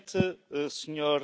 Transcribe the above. it's terrorist finance.